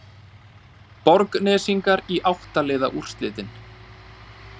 Borgnesingar í átta liða úrslitin